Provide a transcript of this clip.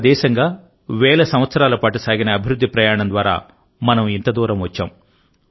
ఒక దేశంగావేల సంవత్సరాల పాటు సాగిన అభివృద్ధి ప్రయాణం ద్వారా మనం ఇంత దూరం వచ్చాం